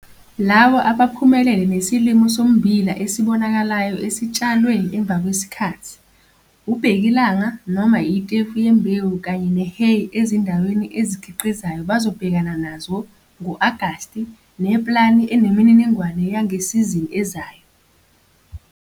Labo abaphumelele nesilimo sommbila esibonakalayo esitshalwe emva kwesikhathi, ubhekilanga noma itefu yembewu kanye ne-hay ezindaweni ezikhiqizayo bazobhekana nazo, ngo-Agasti, ne-plani enemininingwane yangesizini ezayo.